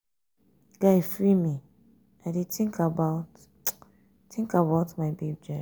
guy free me i dey think about think about my babe jare.